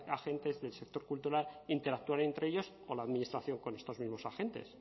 agentes del sector cultural interactuaran entre ellos o la administración con estos mismos agentes